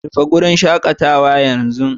Rufe wurin shakatawa yanzu